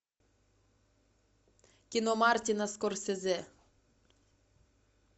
кино мартина скорсезе